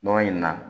Nɔnɔ in na